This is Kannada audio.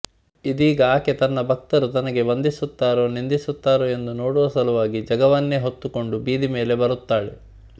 ಇದೀಗ ಆಕೆ ತನ್ನ ಭಕ್ತರು ತನಗೇ ವಂದಿಸುತ್ತಾರೋ ನಿಂದಿಸುತ್ತಾರೋ ಎಂದು ನೋಡುವ ಸಲುವಾಗಿ ಜಗವನ್ನೆ ಹೊತ್ತುಕೊಂಡು ಬೀದಿ ಮೇಲೆ ಬರುತ್ತಾಳೆ